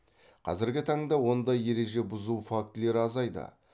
қазіргі таңда ондай ереже бұзу фактілері азайды